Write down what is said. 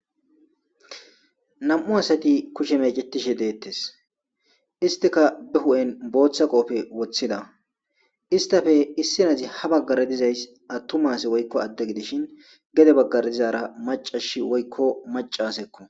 Nam77u asati kushe meecettishe dettees.histikka ba huu7en bootha qoobbe wothida. Histappe issi asi habaggara dizayssi attuma ase woykko adde gidishin gede baggara dizaara maccashi woykko macca asekko.